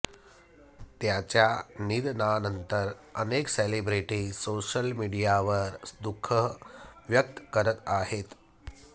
त्याच्या निधनानंतर अनेक सेलिब्रिटी सोशल मीडियावर दुःख व्यक्त करत आहेत